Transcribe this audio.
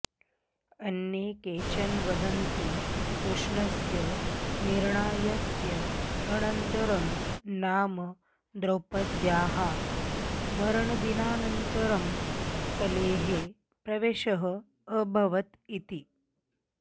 अन्ये केचन वदन्ति कृष्णस्य निर्याणस्य अनन्तरं नाम द्रौपद्याः मरणदिनान्तरं कलेः प्रवेशः अभवत् इति